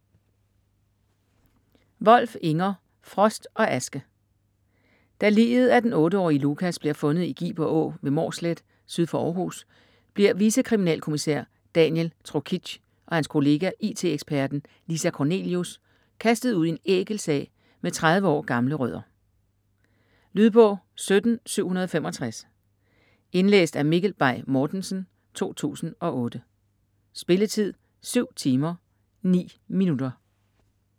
Wolf, Inger: Frost og aske Da liget af den 8-årige Lukas bliver fundet i Giber Å ved Mårslet syd for Århus, bliver vicekriminalkommissær Daniel Trokic og hans kollega, IT-eksperten Lisa Kornelius, kastet ud i en ækel sag med 30 år gamle rødder. Lydbog 17765 Indlæst af Mikkel Bay Mortensen, 2008. Spilletid: 7 timer, 9 minutter.